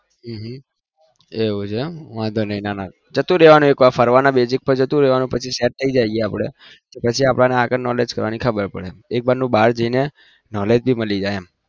હમ એવું છે એક વાર ફરવાના બેજ પર જતું રેવાનું પછી આપડે knowledge કરવાની ખબર પડે